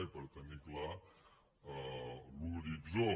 i per tenir clar l’horitzó